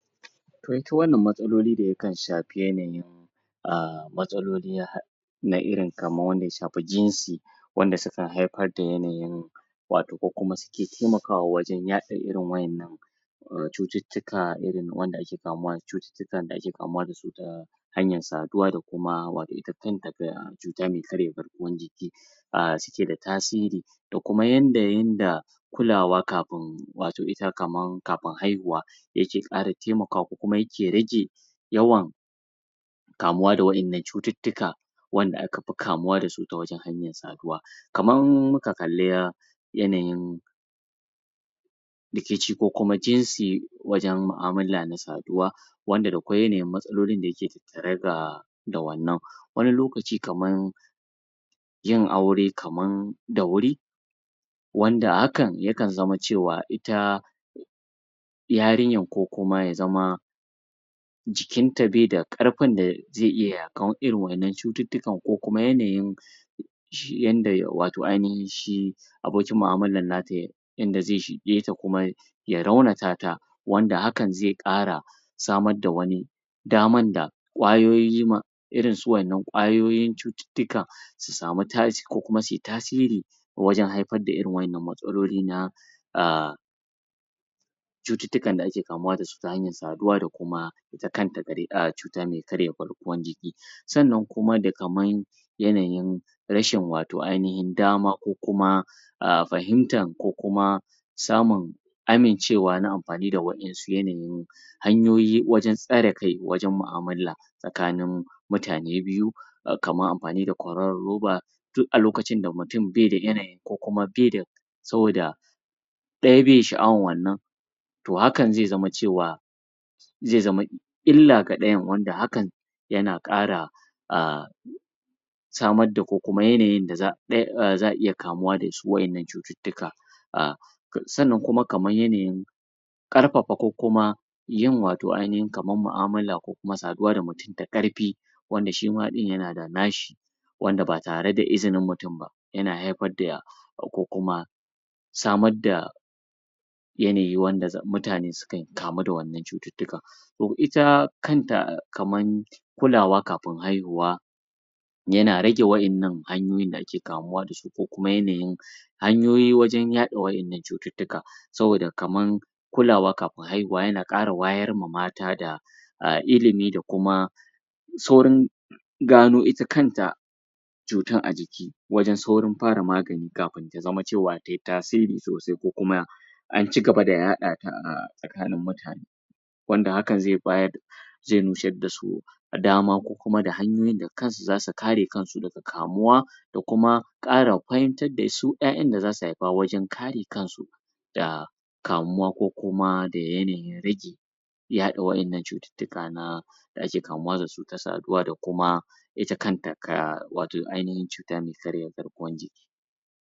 To ita wannan matsalolin da yakan shafi yanayin a matsalolin na ha? na irin kamar wanda ya shafi jinsi wanda sukan haifar da yanayin wato ko kuma suke taimakawa wajen yaɗa irin wa'yannan cututtuka irin wanda ake kamuwa cututtukan da ake kamuwa da su ta hanyar saduwa da kuma wato kanta cuta me karya garkwar jiki a suke da tasiri da kuma yanda yanda kulawa kafin wato ita kaman kafin haihuwa yake ƙara taimakawa ko kuma yake rage yawan kamuwa da wa'yannan cututtuka wanda aka fi kamuwa da su ta wajen hanyoyin saduwa kamar in muka kalli yanayin dake ci ko kuma jinsi wajen mu'amula na saduwa wanda da kwai yanayin matsalolin da yake tattare da da wannan wani lokaci kamar yin aure kamar da wuri wanda hakan yakan zama cewa ita yarinyar ko kuma ya zama jikinta bai da ƙarfin da zai iya yaƙar irin wa'yannan cututtukan ko kuma yanayin shi yadda wato ainahin shi abokin mu'amala nata yanda zai shige ta kuma ya raunata ta wanda hakan zai ƙara samar da wani damar da kwayoyo ma irin su wa'yannan kwayoyi cututtuka su samu tais kuma sau tasiri wajen haifar da irin wa'yannan matsaloli na a cututtukan da ake kamuwa da su ta hayar saduwa da kuma ita kanta cuta me karya garkuwar jiki sannan kuma da kaman yanayin rashin wato ainahin dama ko kuma a fahimtar ko kuma samun amincewa na amfani da wa'yansu yanayi hanyoyi wajen tsare kai wajen mu'amala tsakanin mutane biyu kamar amfani da kwaroron roba duk a lokacin da mutum baida yanayin ko kuma bai da saboda ɗaya bai sha'awar wannan to hakan zai zama cewa zai zama illa ga ɗayan wanda hakan yana ƙara a samar da ko kuma yanayin da za a iya kamuwa da su wa'yannan cututtuka a sannan kuma kamar yanayin ƙarfafa ko kuma yin wato ainashin kamar mu'amulla ko kuma saduwa ta ƙarfi wanda shi ma ɗin yana da na shi wanda ba tare da izinin mutum ba yana haifar da ko kuma samar da yanayi wanda mutane suke kamu da wannan cututtuka to ita kanta kaman kulawa kafin haihuwa yana rage wa'yannan hanyoyin da ake kamuwa da su ko kuma yanayin hanyoyi wajen yaɗa waɗannan cututtuka saboda kamar kulawa kafin haihuwa yana ƙawa wayarwa mata da ilimi da kuma saurin gano ita kanta cutar a jiki wajen saurin fara magani kafin ta zama cewa tai tasiri sosai ko kuma an ci gaba da yaɗa ta a tsakanin mutane wanda hakan zai bayar zai nusar da su dama kuma da hanyoyin da kansu za su kare kansu daga kamuwa da kuma ƙara fahimtar da su 'ya'yan da za su haifa wajen kare kansu da kamuwa ko kuma da yanayin rage yaɗa wa'yannan cututtuka na kamuwa da su ta saduwa da kuma ita kanta ka wato ainahin cuta me karya garguwar jiki